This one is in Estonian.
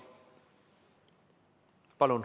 Palun!